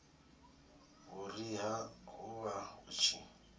vhuriha hu vha hu tshi